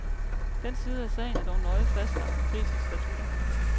Den side af sagen er dog nøje fastlagt i prisens statutter.